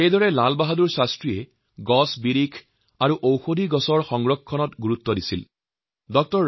শ্ৰী লালবাহাদুৰ শাস্ত্ৰীয়ে বৃক্ষ উদ্ভিদ অৰণ্য ইত্যাদিৰ সংৰক্ষণ আৰু উন্নত মানৰ কৃষিপদ্ধতিৰ প্ৰয়োজনীয়তাৰ ওপৰত সদায় গুৰুত্ব দিছিল